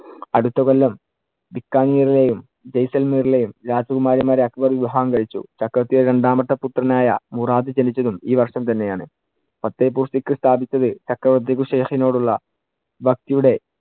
അടുത്ത കൊല്ലം ബിക്കാനീറിലെയും ജയ്സാല്‍മീറിലെയും രാജകുമാരിമാരെ അക്ബർ വിവാഹം കഴിച്ചു. ചക്രവർത്തിയുടെ രണ്ടാമത്തെ പുത്രനായ മുറാദ് ജനിച്ചതും ഈ വർഷം തന്നെ ആണ്. ഫത്തേപ്പൂര്‍ സിക്രി സ്ഥാപിച്ചത് ചക്രവർത്തിക്ക് ഉള്ള ഭക്തിയുടെ